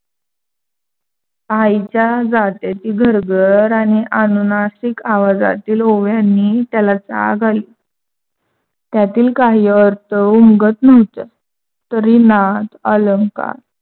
आईच्या जात्याची घरघर आणि आणूनासिक आवाजातील ओव्यानी त्याला जाग आली. त्यातील काही अर्थ उमगत नव्हत. तरी नाद अलंकार